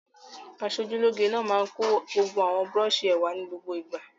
Aṣojúlóge náà máa ń kó gbogbo àwọn búrọ́ṣì rẹ̀ wá ní gbogbo ìgbà.